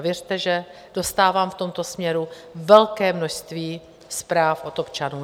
A věřte, že dostávám v tomto směru velké množství zpráv od občanů.